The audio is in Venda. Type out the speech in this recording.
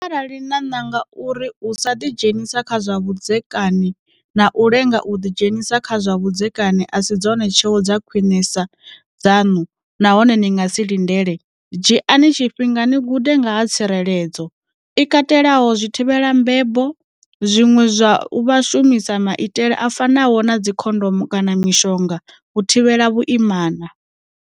Arali na nanga uri u sa ḓidzhenisa kha zwa vhudzekani na u lenga u ḓidzhenisa kha zwa vhudzekani a si dzone tsheo dza khwiṋesa dzaṋu nahone ni nga si lindele, dzhiani tshifhinga ni gude nga ha tsireledzo, i katelaho zwithivhelambebo, zwine zwa vha u shumisa maitele a fanaho na dzikhondomo kana mishonga u thivhela vhuimana.